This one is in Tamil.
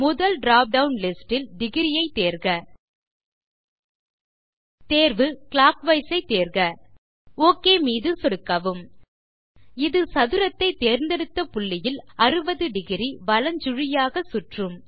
முதல் டிராப் டவுன் லிஸ்ட் இல் டிகிரி ஐ தேர்க தேர்வு க்ளாக்வைஸ் ஐ தேர்க ஒக் மீது சொடுக்கவும் இது சதுரத்தை தேர்ந்தெடுத்த புள்ளியில் 60° வலஞ்சுழியாக சுற்றும்